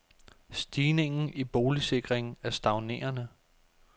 Stigningen i boligsikring er stagnerende.